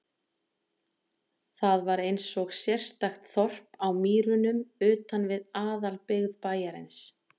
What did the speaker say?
Það var einsog sérstakt þorp á mýrunum utan við aðalbyggð bæjarins.